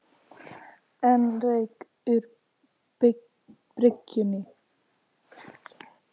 Enn rauk úr bryggjunni